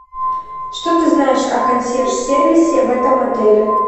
что ты знаешь о консьерж сервисе в этом отеле